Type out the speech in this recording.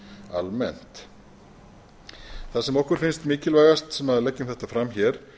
almennt það sem okkur finnst mikilvægast sem leggjum þetta fram hér